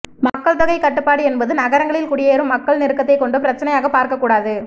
மக்கள் தொகைக் கட்டுப்பாடு என்பதை நகரங்களில் குடியேறும் மக்கள் நெருக்கத்தைக் கொண்டு பிரச்சினையாகப் பார்க்கக் கூடாது